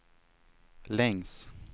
längs